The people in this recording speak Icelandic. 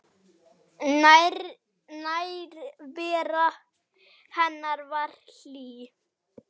Nærvera hennar var hlý.